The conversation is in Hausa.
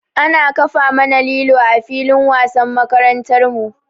Ana kafa mana lilo a filin wasan makarantar mu.